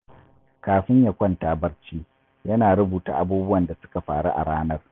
Kafin ya kwanta barci, yana rubuta abubuwan da suka faru a ranar.